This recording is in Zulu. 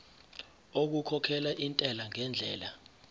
okukhokhela intela ngendlela